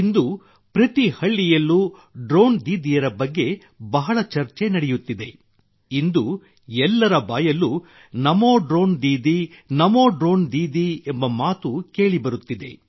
ಇಂದು ಪ್ರತಿ ಹಳ್ಳಿಯಲ್ಲೂ ಡ್ರೋಣ್ ದೀದಿಯ ಬಗ್ಗೆ ಬಹಳ ಚರ್ಚೆ ನಡೆಯುತ್ತಿದೆ ಇಂದು ಎಲ್ಲರ ಬಾಯಲ್ಲೂ ನಮೋ ಡ್ರೋಣ್ ದೀದಿ ನಮೋ ಡ್ರೋಣ್ ದೀದಿ ಎಂಬ ಮಾತು ಕೇಳಿಬರುತ್ತಿದೆ